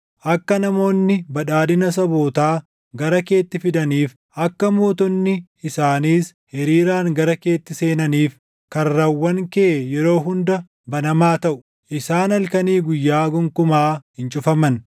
Akka namoonni badhaadhina sabootaa gara keetti fidaniif, akka mootonni isaaniis hiriiraan gara keetti seenaniif, karrawwan kee yeroo hunda banamaa taʼu; isaan halkanii guyyaa gonkumaa hin cufaman;